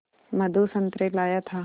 मधु संतरे लाया था